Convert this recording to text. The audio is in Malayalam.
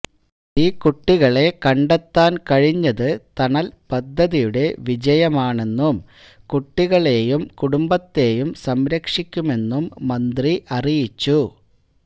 ഈ കുട്ടികളെ കണ്ടെത്താൻ കഴിഞ്ഞത് തണൽ പദ്ധതിയുടെ വിജയമാണെന്നും കുട്ടികളെയും കുടുംബത്തെയും സംരക്ഷിക്കുമെന്നും മന്ത്രി അറിയിച്ചു